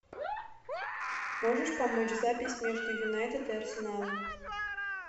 можешь помочь запись между юнайтед и арсеналом